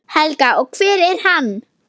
Helga: Og hver er hann?